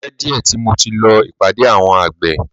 O ti pẹ́ díẹ̀ tí mo ti lọ ìpàdé ẹgbẹ́ àwọn àgbẹ̀.